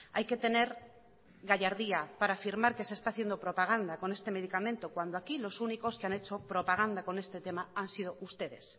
hay que tener gallardía para afirmar que se está haciendo propaganda con este medicamento cuando aquí los únicos que han hecho propaganda con este tema han sido ustedes